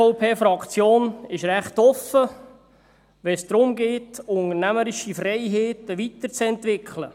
Die SVP-Fraktion ist recht offen, wenn es darum geht, unternehmerische Freiheiten weiterzuentwickeln.